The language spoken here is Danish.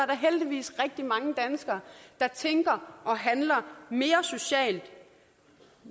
der heldigvis rigtig mange danskere der tænker og handler mere socialt